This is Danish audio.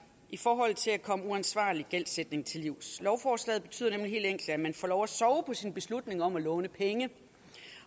i forhold til at komme uansvarlig gældsætning til livs lovforslaget betyder nemlig helt enkelt at man får lov til at sove på sin beslutning om at låne penge